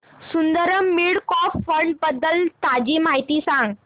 Sundaram mid cap fund बद्दल ताजी माहिती सांग